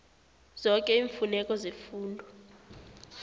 zoke iimfuneko zefundo